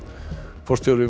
forstjóri